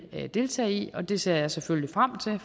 deltage i det ser jeg selvfølgelig frem til